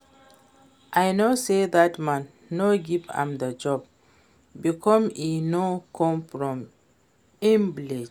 I know say dat man no give am the job because e no come from im village